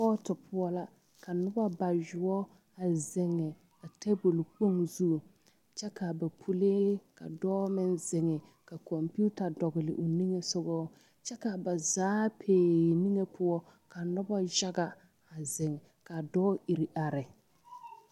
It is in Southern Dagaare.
Kɔɔto poɔ la ka noba bayoɔ a zeŋe a tabol kpoŋ zu kyɛ ka ba pulee ka dɔɔ meŋ zeŋe ka kɔmpeta dɔgle o niŋesogɔ kyɛ ka ba zaa peee niŋe poɔ ka noba yaga a zeŋ ka dɔɔ iri are.